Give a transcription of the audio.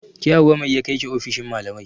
Ke Hauwa mai ya kaiki ofishin malamai?